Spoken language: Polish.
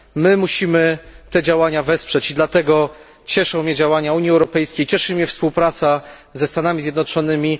My musimy te działania wesprzeć i dlatego cieszą mnie działania Unii Europejskiej, cieszy mnie współpraca ze Stanami Zjednoczonymi.